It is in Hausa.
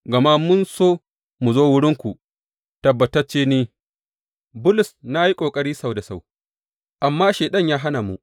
Gama mun so mu zo wurinku, tabbatacce ni, Bulus, na yi ƙoƙari sau da sau, amma Shaiɗan ya hana mu.